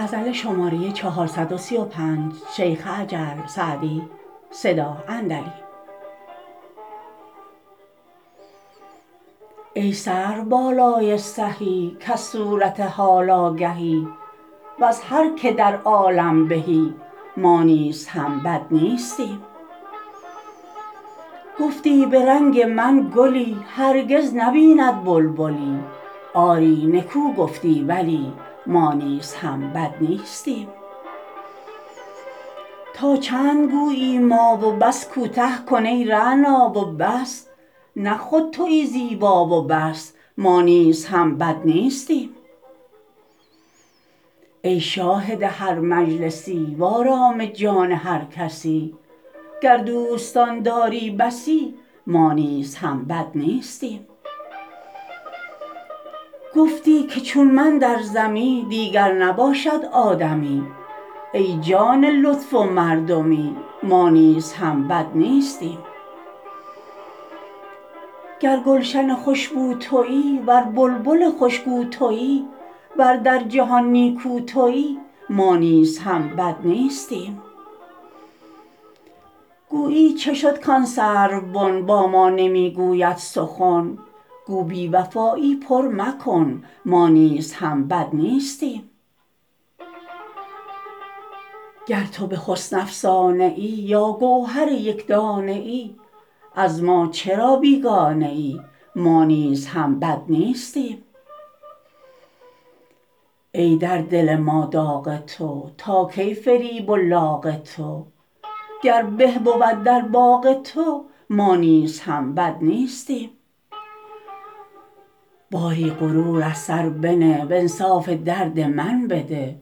ای سروبالای سهی کز صورت حال آگهی وز هر که در عالم بهی ما نیز هم بد نیستیم گفتی به رنگ من گلی هرگز نبیند بلبلی آری نکو گفتی ولی ما نیز هم بد نیستیم تا چند گویی ما و بس کوته کن ای رعنا و بس نه خود تویی زیبا و بس ما نیز هم بد نیستیم ای شاهد هر مجلسی وآرام جان هر کسی گر دوستان داری بسی ما نیز هم بد نیستیم گفتی که چون من در زمی دیگر نباشد آدمی ای جان لطف و مردمی ما نیز هم بد نیستیم گر گلشن خوش بو تویی ور بلبل خوش گو تویی ور در جهان نیکو تویی ما نیز هم بد نیستیم گویی چه شد کآن سروبن با ما نمی گوید سخن گو بی وفایی پر مکن ما نیز هم بد نیستیم گر تو به حسن افسانه ای یا گوهر یک دانه ای از ما چرا بیگانه ای ما نیز هم بد نیستیم ای در دل ما داغ تو تا کی فریب و لاغ تو گر به بود در باغ تو ما نیز هم بد نیستیم باری غرور از سر بنه وانصاف درد من بده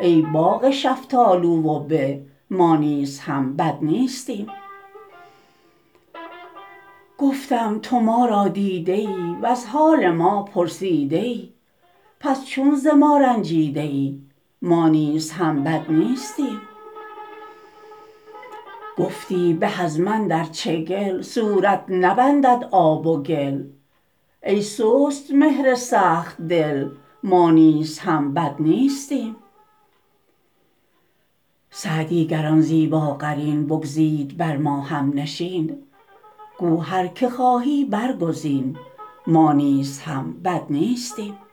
ای باغ شفتالو و به ما نیز هم بد نیستیم گفتم تو ما را دیده ای وز حال ما پرسیده ای پس چون ز ما رنجیده ای ما نیز هم بد نیستیم گفتی به از من در چگل صورت نبندد آب و گل ای سست مهر سخت دل ما نیز هم بد نیستیم سعدی گر آن زیباقرین بگزید بر ما هم نشین گو هر که خواهی برگزین ما نیز هم بد نیستیم